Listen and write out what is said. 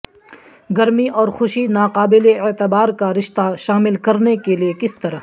گرمی اور خوشی ناقابل اعتبار کا رشتہ شامل کرنے کے لئے کس طرح